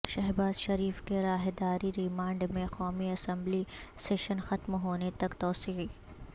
شہباز شریف کے راہداری ریمانڈ میں قومی اسمبلی سیشن ختم ہونے تک توسیع